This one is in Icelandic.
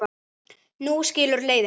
Nú skilur leiðir.